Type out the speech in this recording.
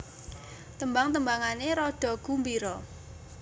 Tembang tembangané rada gumbira